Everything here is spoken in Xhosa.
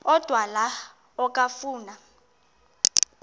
odwa la okafuna